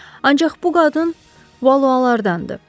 Ancaq bu qadın Valualardandır.